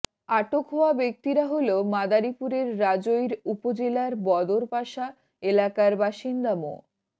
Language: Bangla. আটক হওয়া ব্যক্তিরা হলো মাদারীপুরের রাজৈর উপজেলার বদরপাশা এলাকার বাসিন্দা মো